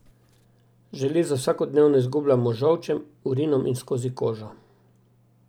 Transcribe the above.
Železo vsakodnevno izgubljamo z žolčem, urinom in skozi kožo.